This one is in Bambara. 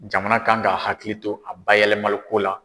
Jamana kan ka hakili to a bayɛlɛmaliko la.